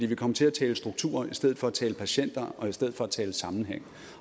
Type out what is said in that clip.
vi kom til at tale strukturer i stedet for at tale patienter og i stedet for at tale sammenhæng